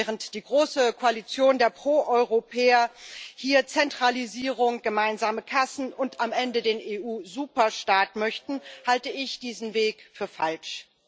Während die große Koalition der Pro Europäer hier Zentralisierung, gemeinsame Kassen und am Ende den EU Superstaat möchte, halte ich diesen Weg für falsch.